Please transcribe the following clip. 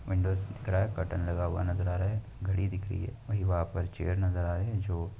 दिख रहा है बटन लगा हुआ नज़र आ रहा है। घड़ी दिख रही है वहीं वहाँ पर चेयर नज़र आ रही है जो --